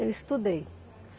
Eu estudei.